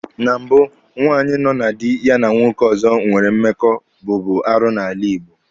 Na mbụ, nwaanyị nọ na dị ya na nwoke ọzọ nwere mmekọ bụbu arụ n'ala Igbo.